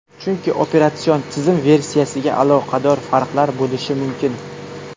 Chunki operatsion tizim versiyasiga aloqador farqlar bo‘lishi mumkin.